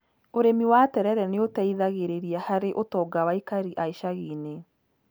Ũrimi wa terere nĩ ũteithagĩrĩria harĩ ũtonga wa aikari a icagi-inĩ.